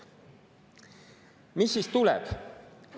Mis siis tuleb?